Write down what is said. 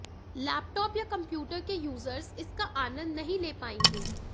laptop या computer के users इसका आनंद नहीं ले पाएंगे